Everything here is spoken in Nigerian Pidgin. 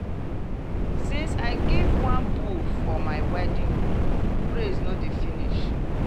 since i give one bull for my wedding praise no dey finish.